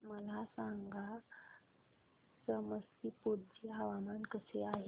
मला सांगा समस्तीपुर चे हवामान कसे आहे